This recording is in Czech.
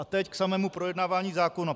A teď k samému projednávání zákona.